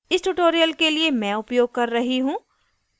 इस tutorial के लिए मैं उपयोग कर रही हूँ